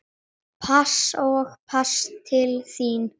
Pass og pass til þín.